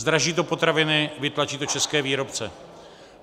Zdraží to potraviny, vytlačí to české výrobce.